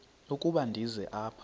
ukuba ndize apha